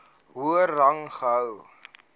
hoër rang gehou